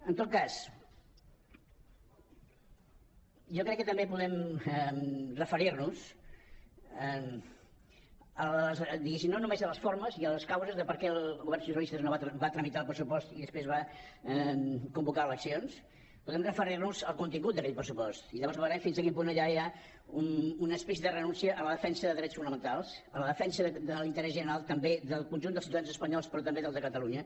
en tot cas jo crec que també podem referir nos diguéssim no només a les formes i a les causes de per què el govern socialista va tramitar el pressupost i després va convocar eleccions podem referir nos al contingut d’aquell pressupost i llavors veurem fins a quin punt allà hi ha una explícita renúncia a la defensa de drets fonamentals a la defensa de l’interès general també del conjunt dels ciutadans espanyols però també dels de catalunya